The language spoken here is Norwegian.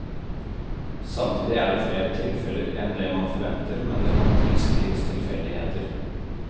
Samtidig er det flere tilfeller enn det man forventer, men det kan tilskrives tilfeldigheter.